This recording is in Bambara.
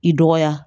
I dɔgɔya